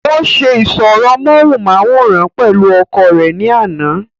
ó se ìsọ̀rọ̀ móhùnmáwòrán pẹ̀lú ọkọ rẹ̀ ní àná